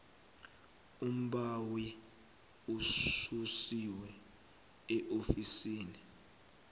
umbawi ususiwe eofisini